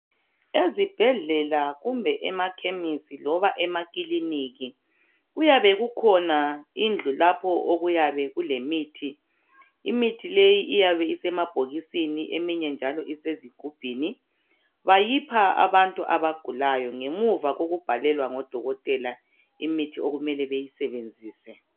Ezibhedlela kumbe emakhemisi loba emakilinika kuyabe kukhona indlu okuyabe kulemithi .Imithi leyi iyabe isemabhokisini eminye njalo isezigubhini. Bayipha abantu abagulayo ngemuva kokubhalelwa ngodokotela imithi okumele beyisebenzise